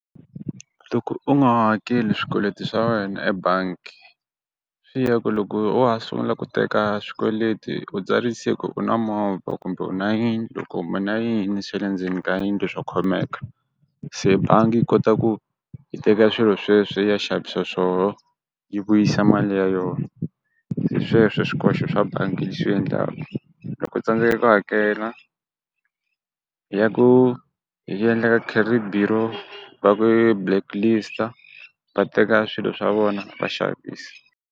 Loko u nga hakeli swikweleti swa wena ebanki, swi ya hi ku loko wa ha sungula ku teka swikweleti u tsarise ku u na movha kumbe u na yindlo kumbe u na yini swa le ndzeni ka yindlo swo khomeka, se bangi yi kota ku yi teka swilo sweswe yi ya xavisa swoho yi vuyisa mali ya yona, hi sweswo swikoxo swa bangi yi xi endlaku, loko tsandzeka ku hakela ya ku va ku blacklist-a, va teka swilo swa vona vaxavisa.